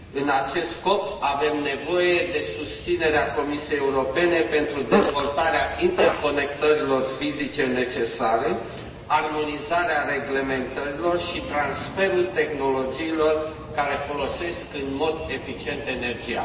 În acest scop, avem nevoie de susținerea Comisiei Europene pentru dezvoltarea interconectărilor fizice necesare, armonizarea reglementărilor și transferul tehnologiilor care folosesc în mod eficient energia.